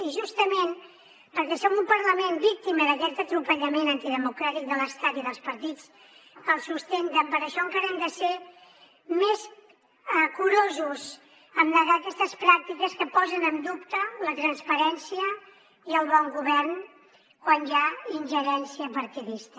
i justament perquè som un parlament víctima d’aquest atropellament antidemocràtic de l’estat i dels partits que el sustenten per això encara hem de ser més curosos amb negar aquestes pràctiques que posen en dubte la transparència i el bon govern quan hi ha ingerència partidista